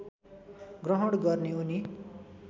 ग्रहण गर्ने उनी